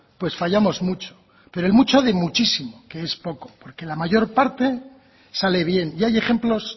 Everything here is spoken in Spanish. pues fallamos mucho pero mucho de muchísimo que es poco porque la mayor parte sale bien y hay ejemplos